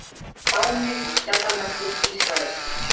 fáni og skjaldarmerki ísraelsríkis